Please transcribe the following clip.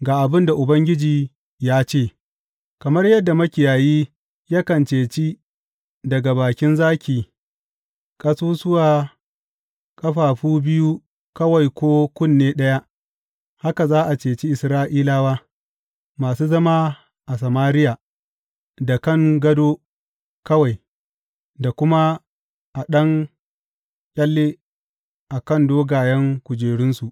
Ga abin da Ubangiji ya ce, Kamar yadda makiyayi yakan ceci daga bakin zaki ƙasusuwa ƙafafu biyu kawai ko kunne ɗaya, haka za a ceci Isra’ilawa, masu zama a Samariya da kan gado kawai da kuma a ɗan ƙyalle a kan dogayen kujerunsu.